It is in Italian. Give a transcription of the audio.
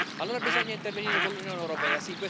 Allora bisogna intervenire con l'Unione europea.